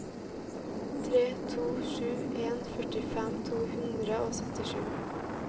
tre to sju en førtifem to hundre og syttisju